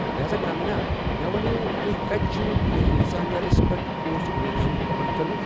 لہازا، کنگنا، مےٚ وَنیو، تُہۍ کتہِ چُھو یہِ لسانیاتَس پٮ۪ٹھ پوسٹ گریجویشن مکمل کٔرمٕژ؟